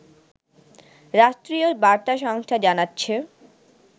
রাষ্ট্রীয় বার্তা সংস্থা জানাচ্ছে